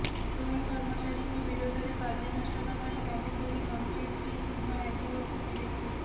toll କର୍ମଚାରୀଙ୍କ ବିରୋଧରେ କାର୍ଯ୍ୟାନୁଷ୍ଠାନ ପାଇଁ ଦାବି କରି ମନ୍ତ୍ରୀ ଶ୍ରୀ ସିଂହ ରାଗି ବସିଥିଲେ